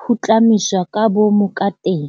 putlamiswa ka boomo kateng.